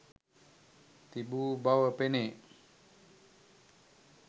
තිබූ බව පෙනේ.